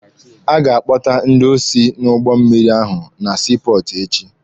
A ga-akpọta ndị osi n'ụgbọ mmịrị ahụ na sii pọọtụ echi.